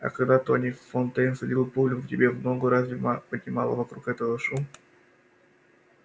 а когда тони фонтейн всадил пулю тебе в ногу разве ма поднимала вокруг этого шум